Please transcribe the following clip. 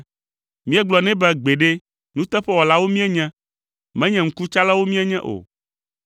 Míegblɔ nɛ be, ‘Gbeɖe, nuteƒewɔlawo míenye, menye ŋkutsalawo míenye o.